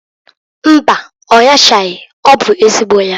Mbaǃ Ọ nyachaghi. Ọ bụ ezigbo ya.